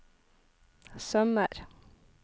sømmer